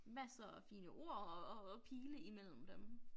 Masser af fine ord og og pile imellem dem